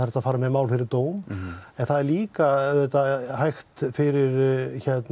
hægt að fara með mál fyrir dóm en það er líka auðvitað hægt fyrir